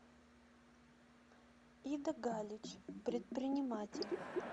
ида галич предприниматель